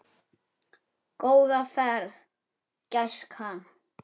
Góða ferð, gæskan!